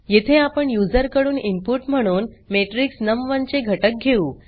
येथे आपण यूज़र कडून इनपुट म्हणून मॅट्रिक्स नम1 चे घटक घेऊ